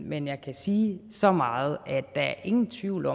men jeg kan sige så meget at der ingen tvivl